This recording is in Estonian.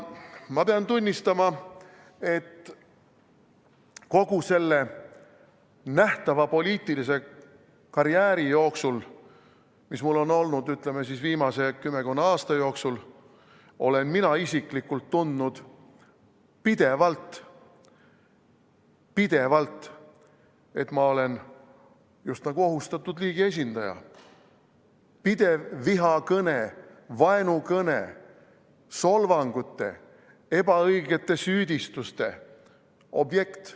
Ma pean tunnistama, et kogu selle nähtava poliitilise karjääri jooksul, mis mul on olnud, ütleme, viimase kümmekonna aasta jooksul, olen mina isiklikult tundnud pidevalt, et ma olen just nagu ohustatud liigi esindaja – pidev vihakõne, vaenukõne, solvangute, ebaõigete süüdistuste objekt.